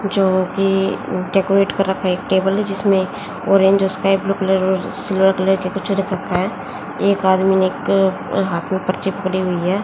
जोकि उनके डेकोरेट कर रखा एक टेबल है जिसमें ऑरेंज और स्काई ब्लू कलर में सिल्वर कलर के कुछ रख रखा है एक आदमी ने एक हाथ में पर्ची पकड़ी हुई है।